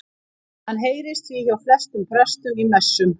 Hann heyrist því hjá flestum prestum í messum.